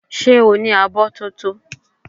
Ṣé o ní abọ́ tótó?